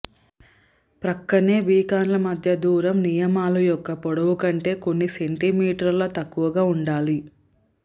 ప్రక్కనే బీకాన్లు మధ్య దూరం నియమాలు యొక్క పొడవు కంటే కొన్ని సెంటీమీటర్ల తక్కువగా ఉండాలి